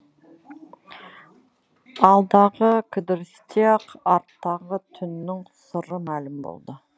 алдағы кідірісте ақ арттағы түннің сыры мәлім болды